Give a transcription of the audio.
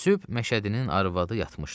Süb məşədinin arvadı yatmışdı.